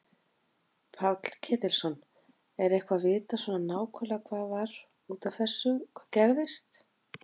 Páll Ketilsson: Er eitthvað vitað svona nákvæmlega hvað var út af þessu hvað gerðist?